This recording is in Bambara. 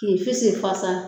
Ki finsi fasa.